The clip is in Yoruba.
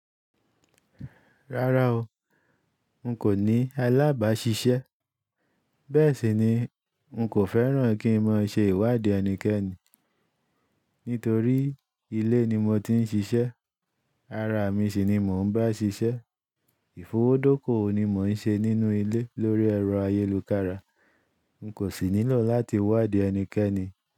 Rárá o, n kò ní alábàá ṣiṣẹ́. Bẹ́ẹ̀ sì ni, n kò fẹ́ràn kí n máa ṣe ìwádìí ẹnikẹ́ni. Nítorí ilé ni mo ti ń ṣiṣẹ́, ara mi sì ni mò ń bá ṣiṣẹ́. Ìfowódókò ni mò ń ṣe nínú ilé lórí ẹ̀rọ ayélukára. N kò sì nílò láti wádìí ẹnikẹ́ni.